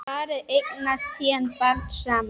Parið eignast síðan barn saman.